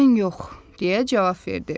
Mən yox, deyə cavab verdi.